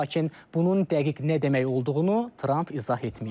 Lakin bunun dəqiq nə demək olduğunu Trump izah etməyib.